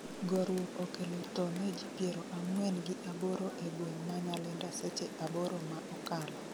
Goruok okelo tho ne ji piero ang'wen gi aboro e gweng' ma Nyalenda seche aboro ma okalo